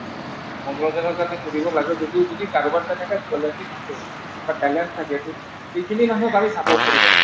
কাৰোবাৰ কাৰণে যদি এটা থাকে বা talent থাকে তে সেইখিনি মানুহক আৰু support কৰিব লাগে ।